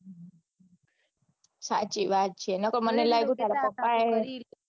સાચી વાત છે નકે મને લાગ્યું તારા પપા એ